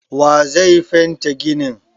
Wa ye zai fente ginin?